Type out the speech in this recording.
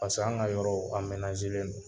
Paseke an ka yɔrɔ don.